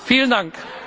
Vielen Dank.